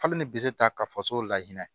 Hali ni bi se ta ka faso la hinɛ